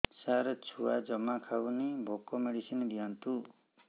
ସାର ଛୁଆ ଜମା ଖାଉନି ଭୋକ ମେଡିସିନ ଦିଅନ୍ତୁ